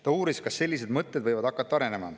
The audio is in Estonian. Ta uuris, kas sellised mõtted võivad hakata arenema.